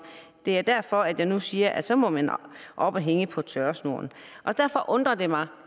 det er derfor at jeg nu siger at så må man op og hænge på tørresnoren derfor undrer det mig